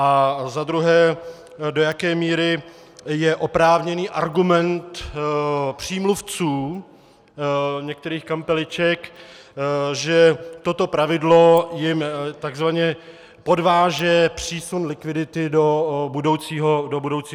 A za druhé, do jaké míry je oprávněný argument přímluvců některých kampeliček, že toto pravidlo jim tzv. podváže přísun likvidity do budoucího období.